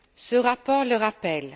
Ce rapport le rappelle.